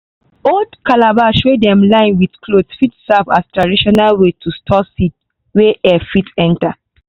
old calabash wey dem line with cloth fit serve as traditional way to store seed wey air fit enter.